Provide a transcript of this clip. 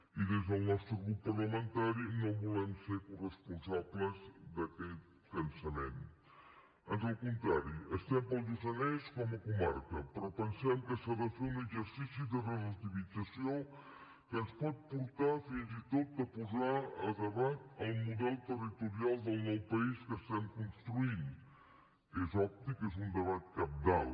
i des del nostre grup parlamentari no volem ser corresponsables d’aquest cansament ans al contrari estem per al lluçanès com a comarca però pensem que s’ha de fer un exercici de relativització que ens pot portar fins i tot a posar a debat el model territorial del nou país que estem construint que és obvi que és un debat cabdal